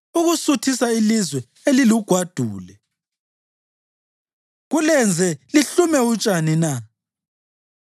ukusuthisa ilizwe elilugwadule kulenze lihlume utshani na?